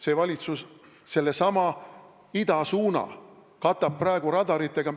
See valitsus katab sellesama idasuuna praegu radaritega.